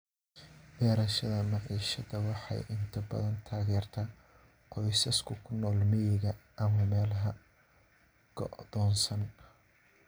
Beerashada maciishada waxay inta badan taageertaa qoysaska ku nool miyiga ama meelaha go'doonsan.